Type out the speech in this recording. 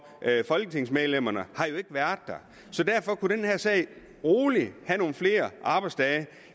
folketingsmedlemmerne så derfor kunne angår den her sag roligt have nogle flere arbejdsdage